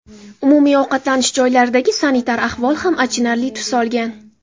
Umumiy ovqatlanish joylaridagi sanitar ahvol ham achinarli tus olgan.